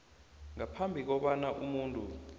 ngaphambi kobana umuntu